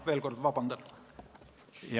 Veel kord: palun vabandust!